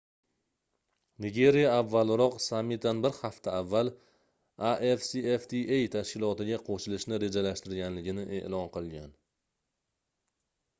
nigeriya avvalroq sammitdan bir hafta avval afcfta tashkilotiga qoʻshilishni rejalashtirganligini eʼlon qilgan